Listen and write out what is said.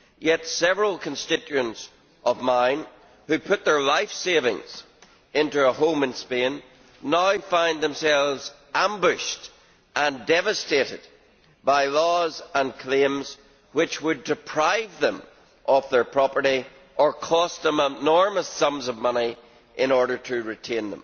Yet several constituents of mine, who put their life savings into a home in Spain, now find themselves ambushed and devastated by laws and claims which would deprive them of their property or cost them enormous sums of money in order to retain